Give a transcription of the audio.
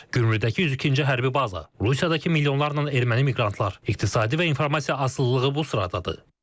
Gümrüdəki 102-ci hərbi baza, Rusiyadakı milyonlarla erməni miqrantlar, iqtisadi və informasiya asılılığı bu sıradadır.